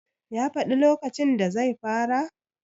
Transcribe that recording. ya faɗi lokacin da zai fara?